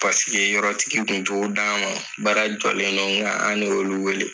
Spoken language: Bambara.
Paseke yɔrɔtigi kun t'o d'an mɔn, baara jɔlen non ŋa anolu wele